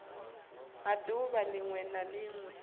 ha ḓuvha ḽiṅwe na ḽiṅwe